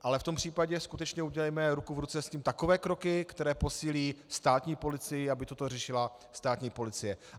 Ale v tom případě skutečně udělejme ruku v ruce s tím takové kroky, které posílí státní policii, aby toto řešila státní policie.